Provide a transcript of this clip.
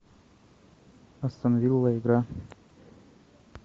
астон вилла игра